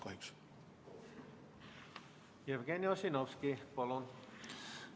Jevgeni Ossinovski, palun!